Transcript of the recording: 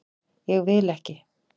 Ég vil ekki.